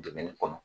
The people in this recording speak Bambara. Dumuni kɔnɔ